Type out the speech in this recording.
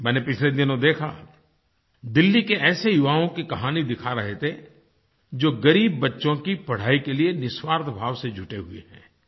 मैंने पिछले दिनों देखा दिल्ली के ऐसे युवाओं की कहानी दिखा रहे थे जो ग़रीब बच्चों की पढ़ाई के लिए निस्वार्थ भाव से जुटे हुए हैं